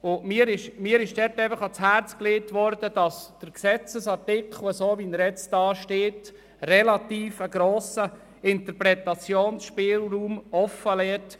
Mir wurde ans Herz gelegt, der Gesetzesartikel, so wie er jetzt formuliert ist, solle einen relativ grossen Interpretationsspielraum offenlassen.